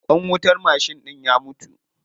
Ƙwan wutar mashin ɗin ya mutu.